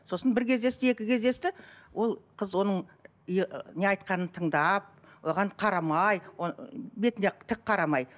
сосын бір кездесті екі кездесті ол қыз оның ы не айтқанын тыңдап оған қарамай бетіне тік қарамай